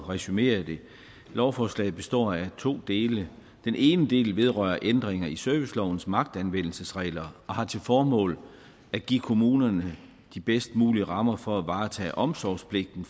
resumere det lovforslaget består af to dele den ene del vedrører ændringer i servicelovens magtanvendelsesregler og har til formål at give kommunerne de bedst mulige rammer for at varetage omsorgspligten